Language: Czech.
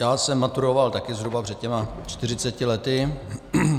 Já jsem maturoval také zhruba před těmi 40 lety.